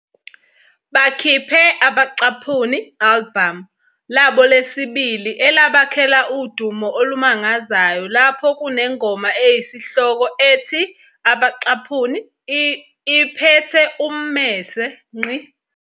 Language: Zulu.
Bakiphe "album" labo lesibili elabakhela udumo olumangazayo lapho kunengoma eyisihloko ethi "Iphethe Ummese".